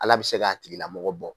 Ala bɛ se k'a tigilamɔgɔ bɔ